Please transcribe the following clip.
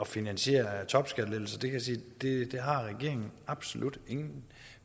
finansiere topskattelettelser kan jeg sige at det har regeringen absolut ingen